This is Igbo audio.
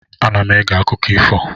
Ana m ege akụkọ ifo.